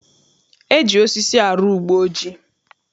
E ji osisi arụ ugbeojii